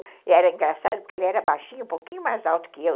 E era engraçado porque ele era baixinho, um pouquinho mais alto que eu.